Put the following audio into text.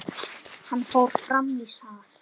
Hann fór fram í sal.